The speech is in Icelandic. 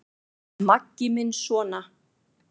Maggi minn sona!